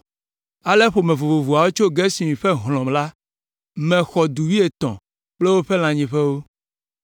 Ale ƒome vovovoawo tso Gerson ƒe hlɔ̃ la me xɔ du wuietɔ̃ kple woƒe lãnyiƒewo.